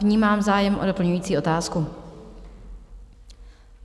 Vnímám zájem o doplňující otázku.